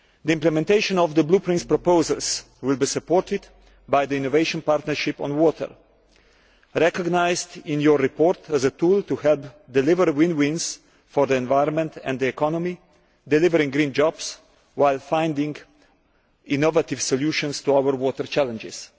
Implementation of the Blueprint's proposals will be supported by the Innovation Partnership on Water, recognised in your report as a tool to help deliver win win solutions for the environment and the economy creating green jobs while finding innovative solutions to our water challenges.